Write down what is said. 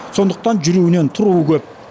сондықтан жүруінен тұруы көп